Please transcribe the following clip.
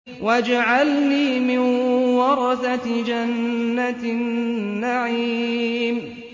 وَاجْعَلْنِي مِن وَرَثَةِ جَنَّةِ النَّعِيمِ